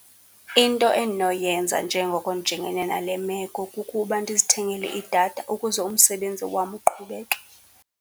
Into endinoyenza njengoko ndijongene nale meko kukuba ndizithengele idatha ukuze umsebenzi wam uqhubeke.